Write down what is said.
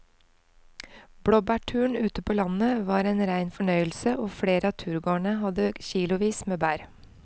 Blåbærturen ute på landet var en rein fornøyelse og flere av turgåerene hadde kilosvis med bær.